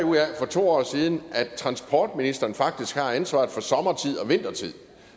for to år siden af at transportministeren faktisk har ansvaret for sommertid og vintertid